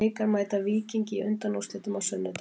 Blikar mæta Víkingi í undanúrslitum á sunnudag.